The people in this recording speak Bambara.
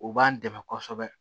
O b'an dɛmɛ kosɛbɛ